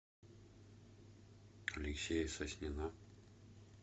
алексея соснина